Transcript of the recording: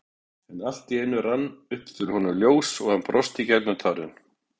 En allt í einu rann upp fyrir honum ljós og hann brosti gegnum tárin.